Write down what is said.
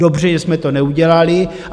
Dobře že jsme to neudělali.